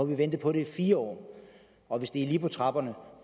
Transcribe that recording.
vi ventet på det i fire år og hvis det er lige på trapperne